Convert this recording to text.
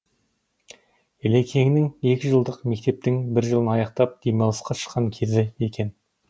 ілекеңнің екі жылдық мектептің бір жылын аяқтап демалысқа шыққан кезі екен